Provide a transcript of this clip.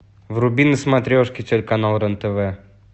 вруби на смотрешке телеканал рен тв